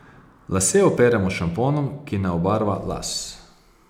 Lase operemo s šamponom, ki ne obarva las.